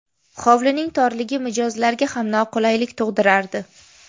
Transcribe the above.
Hovlining torligi mijozlarga ham noqulaylik tug‘dirardi.